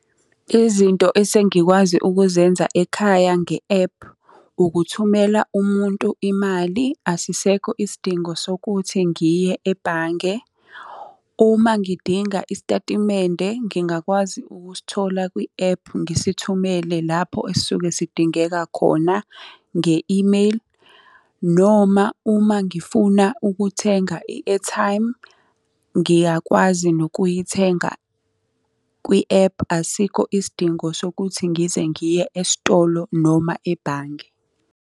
Izinto esengikwazi ukuzenza ekhaya nge-ephu, ukuthumela umuntu imali. Asisekho isidingo sokuthi ngiye ebhange. Uma ngidinga isitatimende ngingakwazi ukusithola kwi-ephu ngisithumele lapho esisuke sidingeka khona, nge-imeyili. Noma uma ngifuna ukuthenga i-airtime, ngiyakwazi nokuyithenga kwi-ephu. Asikho isidingo sokuthi ngize ngiye esitolo noma ebhange.